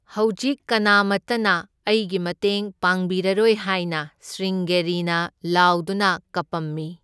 ꯍꯧꯖꯤꯛ ꯀꯅꯥꯃꯇꯅ ꯑꯩꯒꯤ ꯃꯇꯦꯡ ꯄꯥꯡꯕꯤꯔꯔꯣꯏ ꯍꯥꯏꯅ ꯁ꯭ꯔꯤꯡꯒꯦꯔꯤꯅ ꯂꯥꯎꯗꯨꯅ ꯀꯞꯄꯝꯃꯤ꯫